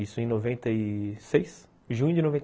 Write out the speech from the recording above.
Isso em noventa e seis... junho de noventa